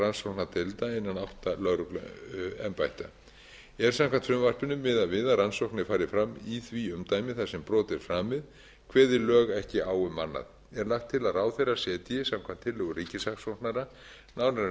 rannsóknardeilda innan átta lögregluembætta er samkvæmt frumvarpinu miðað við að rannsóknir fari fram í því umdæmi þar sem brot er framið kveði ráðherra ekki á um annað er lagt til að ráðherra setji samkvæmt tillögu ríkissaksóknara nánari